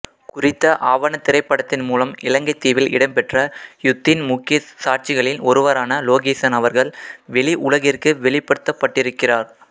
குறித்த ஆவணத்திரைப்படத்தின் மூலம் இலங்கைத்தீவில் இடம்பெற்ற யுத்தின் முக்கிய சாட்சிகளில் ஒருவரான லோகீசன் அவர்கள் வெளி உலகிற்கு வெளிப்படுத்தப்பட்டிருக்கிறார்